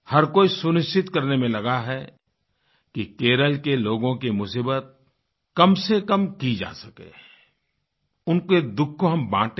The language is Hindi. हर कोई सुनिश्चित करने में लगा है कि केरल के लोगों की मुसीबत कमसेकम की जा सके उनके दुःख को हम बाँटें